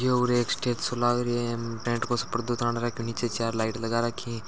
उर एक स्टेज सो लाग रहो है टेंट को सो पर्दो ताण राखो है नीचे चार लाइट लगा रखी है।